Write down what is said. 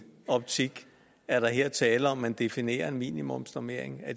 optik er der her tale om at man definerer en minimumsnormering